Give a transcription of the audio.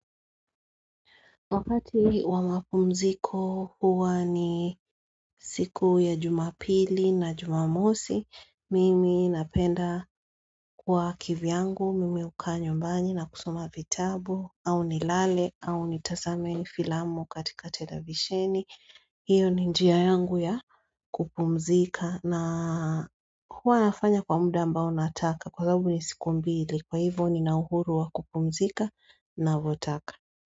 Wakati wa mapumziko huwa ni siku ya jumapili na jumamosi, mimi napenda kwa kivyangu, mimi uka nyumbani na kusoma vitabu, au nilale, au ni tasame ni filamu katika tedavisheni. Hiyo ni njia yangu ya kupumzika na huwa nafanya kwa muda ambao nataka kwa sababu ni siku mbili, kwa hivyo nina huru wa kupumzika na votaka.